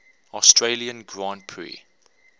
australian grand prix